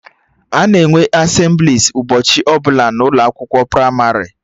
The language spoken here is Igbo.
Ana enwe Asemblịes ụbọchị ọbụla n'ụlọ akwụkwọ pramarị